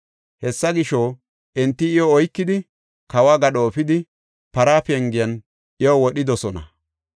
Hessa gisho, enti iyo oykidi kawo gadho efidi Para Pengen iyo wodhidosona.